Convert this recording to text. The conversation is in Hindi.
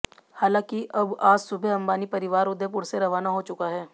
हालांकि अब आज सुबह अंबानी परिवार उदयपुर से रवाना हो चुका है